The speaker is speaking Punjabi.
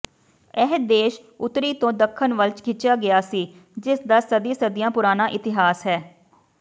ਇਹ ਦੇਸ਼ ਉੱਤਰੀ ਤੋਂ ਦੱਖਣ ਵੱਲ ਖਿੱਚਿਆ ਗਿਆ ਸੀ ਜਿਸਦਾ ਸਦੀ ਸਦੀਆਂ ਪੁਰਾਣਾ ਇਤਿਹਾਸ ਹੈ